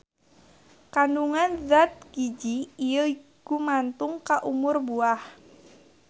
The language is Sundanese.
Kandungan zat giji ieu gumantung ka umur buah.